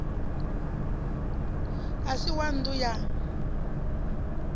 a si wa nnḓu ya